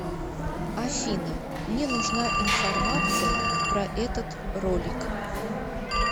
афина мне нужна информация про этот ролик